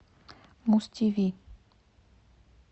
муз тв